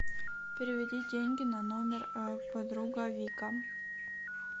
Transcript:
переведи деньги на номер подруга вика